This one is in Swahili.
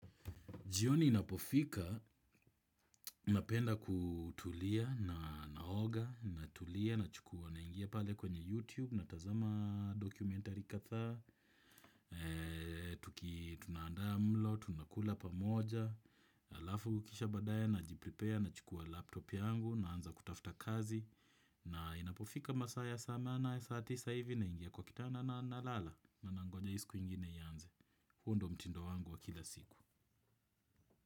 Jioni inapofika, napenda kutulia na naoga, natulia na chukua na ingia pale kwenye YouTube, natazama dokumentari kadhaa, tunaandaa mlo, tunakula pa moja, alafu kisha badaaye na jipripea, na chukua laptop yangu, naanza kutafta kazi, na inapofika masaa ya saa nane saa tisa hivi na ingia kwa kitanda na lala, na nangonja hii siku ingine ianze. Huu ndo mtindo wangu wa kila siku.